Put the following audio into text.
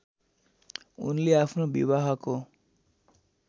उनले आफ्नो विवाहको